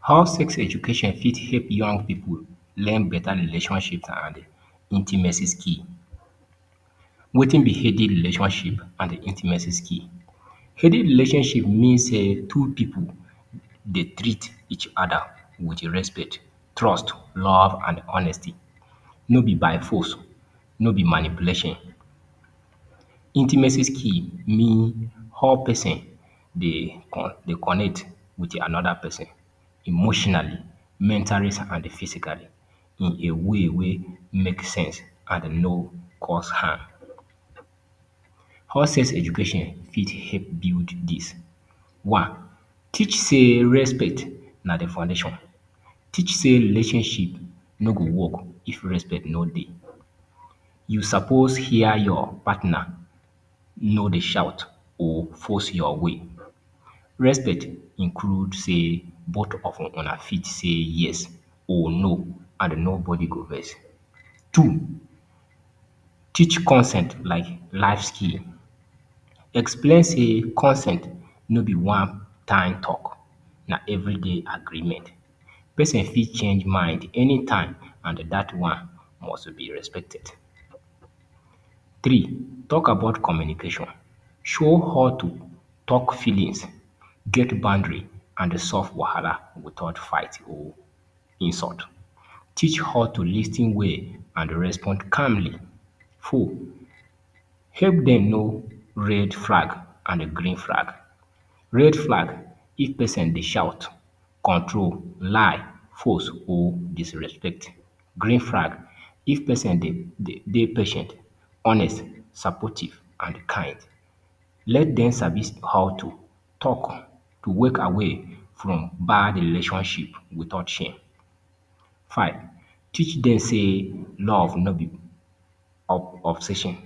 How Sex Education Fit Help Young People Learn Better Relationships and Intimacy skill Wetin b healthy Relationship and Intimacy skill, Healthy Relationship means two people dey treat each other with respect, trust, love, and honesty. No be by force, no be manipulation. Intimacy skill mean how person they connect with another person emotionally, mentally, and physically in a way wey make sense and no cause harm. How sex-education fit help build this one, Teach sayrespect na the foundation. Teach say relationship no go work if respect no Dey. You no suppose hear your partner, no they shout or force your way. Respect includes self-discipline. Both of una fit say yes or no and no body go vex. Two, Teach consent like life skill. Explain say consent nor be one time talk, na everyday agreement. Person fit change mind any time and that one must be respected. Three, Talk about communication. Show how to talk feelings, get boundary, and solve wahala without fight or insult teach how to lis ten well and respond calmly. four help them know red flag and green flag, red flag if pesin dey shout, control, lie or disrespect green flag if person dey pai ten t,honest supportive and kind let dem sabi how to walk away without shame five, teach dem say love no be obsession